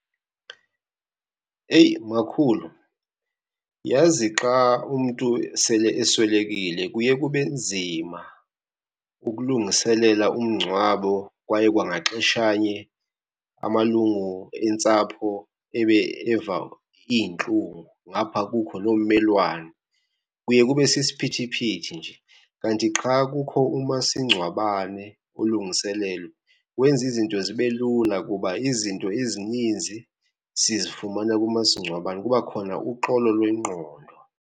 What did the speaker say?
Eyi makhulu, yazi xa umntu sele eswelekile kuye kube nzima ukulungiselela umngcwabo kwaye kwangaxeshanye amalungu entsapho ebe eva iintlungu, ngapha kukho loo mmelwano, kuye kube sisiphithiphithi nje. Kanti xa kukho umasingcwabane olungiselelwe, wenza izinto zibe lula kuba izinto ezininzi sizifumana kumasingcwabane. Kuba khona uxolo lwengqondo.